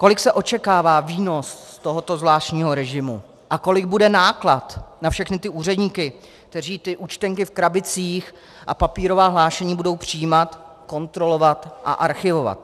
Kolik se očekává výnos z tohoto zvláštního režimu a kolik bude náklad na všechny ty úředníky, kteří ty účtenky v krabicích a papírová hlášení budou přijímat, kontrolovat a archivovat?